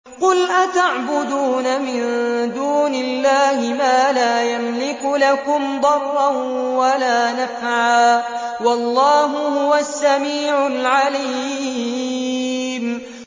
قُلْ أَتَعْبُدُونَ مِن دُونِ اللَّهِ مَا لَا يَمْلِكُ لَكُمْ ضَرًّا وَلَا نَفْعًا ۚ وَاللَّهُ هُوَ السَّمِيعُ الْعَلِيمُ